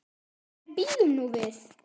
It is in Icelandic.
En bíðum nú við.